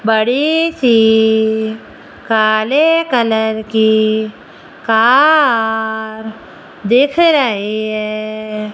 बड़ी सी काले कलर की कार दिख रही है।